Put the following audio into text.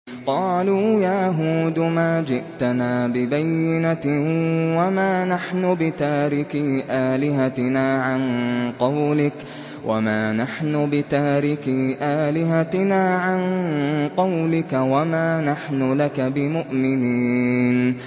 قَالُوا يَا هُودُ مَا جِئْتَنَا بِبَيِّنَةٍ وَمَا نَحْنُ بِتَارِكِي آلِهَتِنَا عَن قَوْلِكَ وَمَا نَحْنُ لَكَ بِمُؤْمِنِينَ